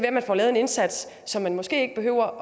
at man får lavet en indsats så man måske ikke behøver